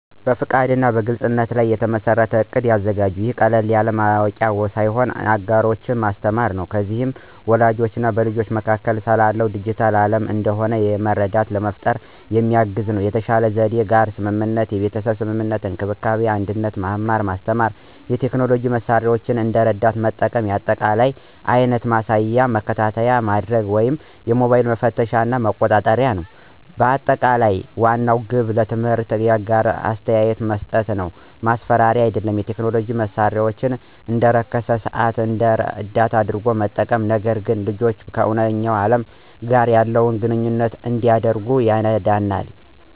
በፈቃድ እና በግልፅነት ላይ የተመሠረተ እቅድ ያዘጋጁ። ይህ ቀላል ማወቂያ ሳይሆን አጋሮች እና ማስተማር ነው። እነዚህ በወላጆች እና በልጆች መካከል ስለ ዲጂታል ዓለም አንድ የሆነ መረዳት ለመፍጠር የሚያግዙ ናቸው። የተሻለ ዘዴ የጋራ ስምምነት (የቤተሰብ ስምምነት፣ እንክብካቤ እና አንድነት፣ መማር ማስተማር፣ የቴክኖሎጂ መሳሪያዎችን እንደ ረዳት መጠቀም፣ የአጠቃቀም አይነት ማሳየት እና መከታተይ ማድርግ ወይም ሞባይሎችን መፈተሽ እና መቆጣጠር። ማጠቃለያ ዋናው ግብ ትምህርት እና የጋራ አስተያየት መስጠት ነው፣ ማስፈራሪያ አይደለም። የቴክኖሎጂ መሳሪያዎችን (እንደ አርክስታይም ሰዓት) እንደ ረዳት አድርገው በመጠቀም፣ ነገር ግን ልጅዎ ከእውነተኛ ዓለም ጋር ያለውን ግንኙነት እንዲያደርግ ይረዳናል።